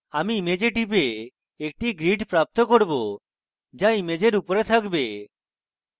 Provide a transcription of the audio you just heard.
আমি image টিপে একটি grid প্রাপ্ত করব যা ইমেজের উপরে থাকবে